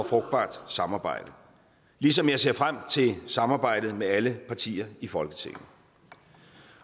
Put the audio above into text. frugtbart samarbejde ligesom jeg ser frem til samarbejdet med alle partier i folketinget